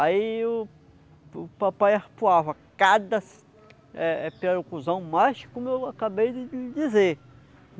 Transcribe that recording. Aí o o papai arpoava cada eh eh pirarucuzão mais, como eu acabei de de dizer.